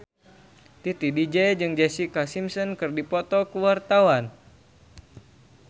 Titi DJ jeung Jessica Simpson keur dipoto ku wartawan